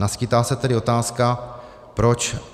Naskýtá se tedy otázka, proč